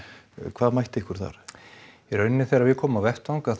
hvað mætti ykkur þar í raun þegar við komum á vettvang